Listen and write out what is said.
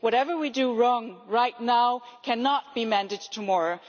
Whatever we do wrong right now cannot be mended tomorrow.